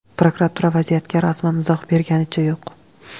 Prokuratura vaziyatga rasman izoh berganicha yo‘q.